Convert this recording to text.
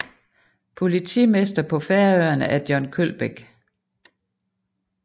Politimester på Færøerne er John Kølbæk